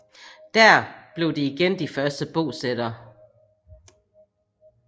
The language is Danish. Dér blev de igen de første bosættere